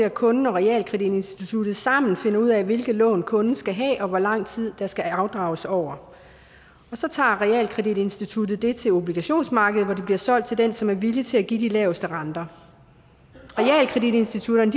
at kunden og realkreditinstituttet sammen finder ud af hvilket lån kunden skal have og hvor lang tid det skal afdrages over så tager realkreditinstituttet lånet til obligationsmarkedet hvor det bliver solgt til den som er villig til at give de laveste renter realkreditinstitutterne